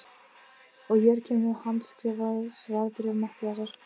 Og hér kemur handskrifað svarbréf Matthíasar